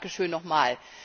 Danke schön nochmal.